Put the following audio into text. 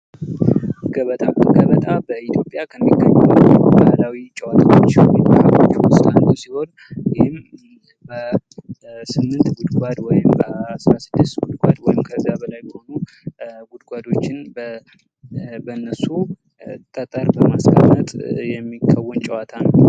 ገበጣ ገበጣ በኢትዮጵያ ከሚገኙ ባህላዊ ጨዋታዎች እንዲሁም ባህሎች ዉስጥ አንዱ ሲሆን ይህም በስምንት ጉድጕድ ወይም በአስራ ስድስት ጉድጕድ ወይም ከዛ በላይ በሆኑ ጉድጕዶችን በነሱ ጠጠር በማስቀመጥ የሚከወን ጭዋታ ነው::